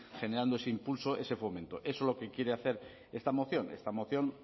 generando ese impulso ese fomento eso es lo que quiere hacer esta moción esta moción